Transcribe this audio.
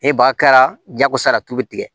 E ba kɛra jagosa ye tulu bi tigɛ